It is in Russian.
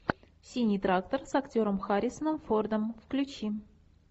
синий трактор с актером харрисоном фордом включи